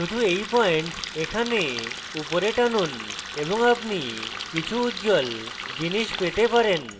শুধু এই পয়েন্ট এখানে উপরে টানুন এবং আপনি কিছু উজ্জ্বল জিনিস পেতে পারেন